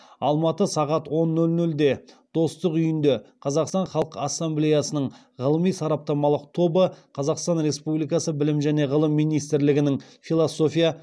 алматы сағат он нөл нөлде достық үйінде қазақстан халқы ассамблеясының ғылыми сараптамалық тобы қазақстан республикасы білім және ғылым министрлігінің философия